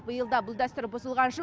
биыл да бұл дәстүр бұзылған жоқ